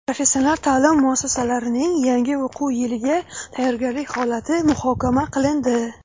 Professional taʼlim muassasalarining yangi o‘quv yiliga tayyorgarlik holati muhokama qilindi.